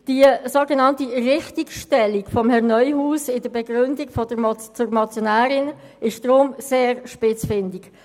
Die sogenannte Richtigstellung von Herrn Neuhaus in der Begründung zur Motion ist daher sehr spitzfindig.